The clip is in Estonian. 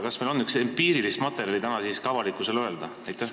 Kas meil on sellist empiirilist materjali, mida saaks täna avalikkusele öelda?